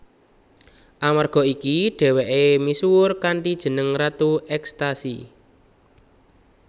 Amerga iki dhèwèké misuwur kanthi jeneng ratu ekstasi